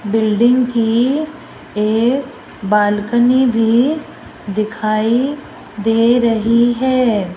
Building की एक balcony भी दिखाई दे रही है।